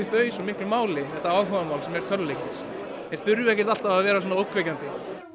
þau svo miklu máli þetta áhugamál sem eru tölvuleikir þeir þurfa ekki að vera svona ógnvekjandi